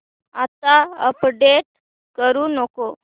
आता अपडेट करू नको